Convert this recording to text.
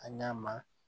A ɲa ma